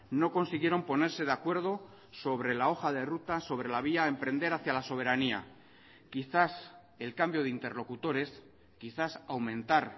no consiguieron ponerse de acuerdo sobre la hoja de ruta sobre la vía a emprender hacia la soberanía quizás el cambio de interlocutores quizás aumentar